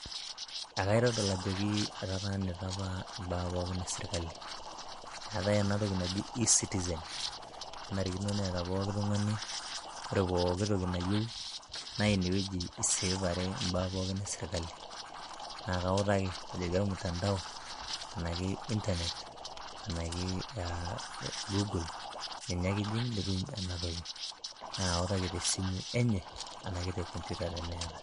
Ekaitodol ajoki etataanita apa imbaa pookin esirkali. Eetai enatoki naji e-citizen nenarikino neeta pooki tung'ani ore pooki toki nayieu na inewueji iseevare imbaa pookin esirkali. Na kautaki ajoki ormtandao, ena ke Internet ,ena ke ah Google ninye ake ijing' nitum enatoki. Na autaki tesimu enye ena ke te computer teneeta.